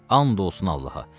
And olsun Allaha.